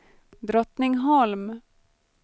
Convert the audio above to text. Drottningholm